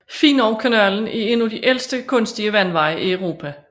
Finowkanalen er en af de ældste kunstige vandveje i Europa